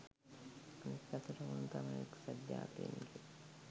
අනික් අතට ඔවුන් තමයි එක්සත් ජාතීන්ගේ